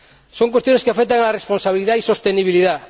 Son cuestiones que afectan a la responsabilidad y sostenibilidad.